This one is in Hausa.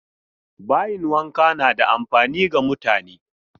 Bayin wanka na da amfani ga mutane.